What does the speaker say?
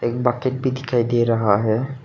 Bucket भी दिखाई दे रहा है।